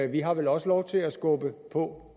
vi har vel også lov til at skubbe på